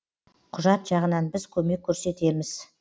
құжат жағынан біз көмек көрсетеміз